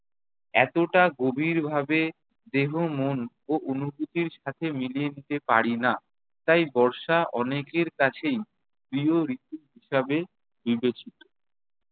এতটা গভীরভাবে দেহ, মন ও অনুভূতির সাথে মিলিয়ে নিতে পারি না। তাই বর্ষা অনেকের কাছেই প্রিয় ঋতু হিসাবে বিবেচিত।